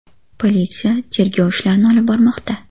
Politsiya tergov ishlarini olib bormoqda.